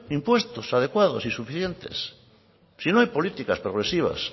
impuestos adecuados y suficientes si no hay políticas progresivas